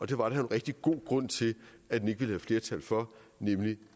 det var der en rigtig god grund til at man ikke ville have flertal for nemlig